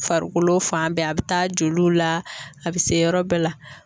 Farikolo fan bɛɛ, a bɛ taa joliw la a bɛ se yɔrɔ bɛɛ la.